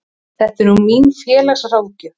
Þetta er nú mín félagsráðgjöf.